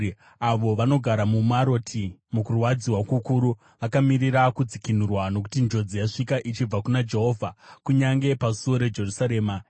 Avo vanogara muMaroti mukurwadziwa kukuru vakamirira kudzikinurwa, nokuti njodzi yasvika ichibva kuna Jehovha, kunyange pasuo reJerusarema.